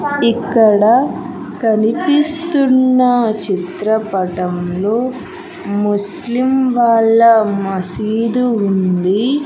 ఇక్కడ కనిపిస్తున్న చిత్రపటంలో ముస్లిం వాళ్ళ మసీదు ఉంది.